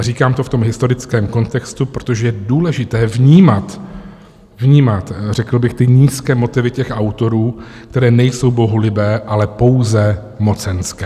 A říkám to v tom historickém kontextu, protože je důležité vnímat, vnímat řekl bych ty nízké motivy těch autorů, které nejsou bohulibé, ale pouze mocenské.